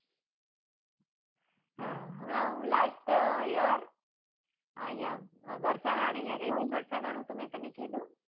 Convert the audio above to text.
હા હમના હું lastyear વરસના ને અહિયાં ગઈ હતી વરસના નું તો મેં તને કીધું.